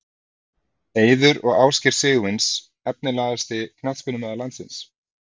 Eiður og Ásgeir Sigurvins Efnilegasti knattspyrnumaður landsins?